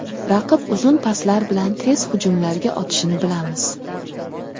Raqib uzun paslar bilan tez hujumlarga o‘tishini bilamiz.